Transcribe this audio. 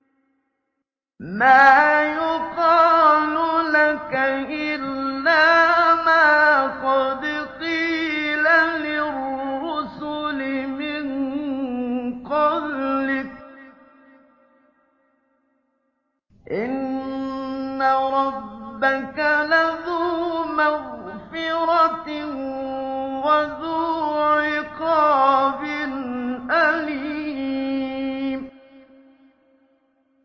مَّا يُقَالُ لَكَ إِلَّا مَا قَدْ قِيلَ لِلرُّسُلِ مِن قَبْلِكَ ۚ إِنَّ رَبَّكَ لَذُو مَغْفِرَةٍ وَذُو عِقَابٍ أَلِيمٍ